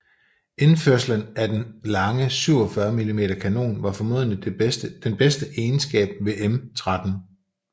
Indførelsen af den lange 47 mm kanon var formentlig den bedste egenskab ved M13